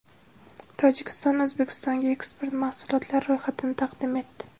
Tojikiston O‘zbekistonga eksport mahsulotlari ro‘yxatini taqdim etdi .